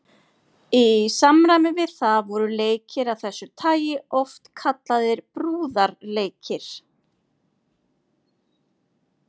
Í samræmi við það voru leikir af þessu tagi oft kallaðir brúarleikir.